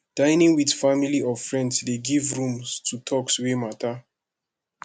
dining with family or friends de give room to talks wey matter